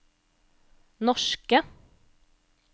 norske